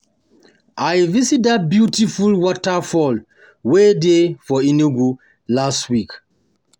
I visit dat beautiful waterfall wey dey for Enugu last week